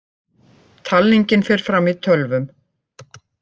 Talningin fer fram í tölvum